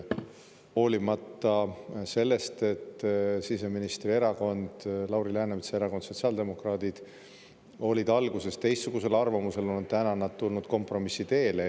Hoolimata sellest, et siseministri erakond, Lauri Läänemetsa erakond, sotsiaaldemokraadid, oli alguses teistsugusel arvamusel, on nad nüüd tulnud kompromissi teele.